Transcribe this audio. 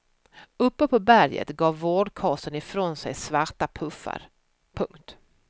Uppe på berget gav vårdkasen ifrån sig svarta puffar. punkt